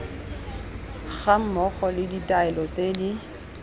gammogo le ditaelo tse di